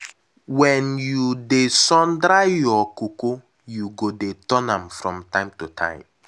wen you dey sun dry your cocoa you go dey turn am from time to time.